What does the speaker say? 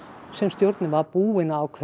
sem stjórnin var búin að ákveða